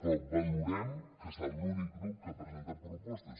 però valorem que ha estat l’únic grup que ha presentat propostes